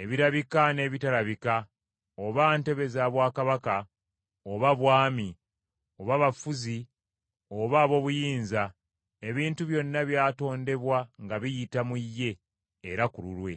ebirabika n’ebitalabika oba ntebe za bwakabaka oba bwami, oba bafuzi oba ab’obuyinza; ebintu byonna byatondebwa nga biyita mu ye era ku lulwe.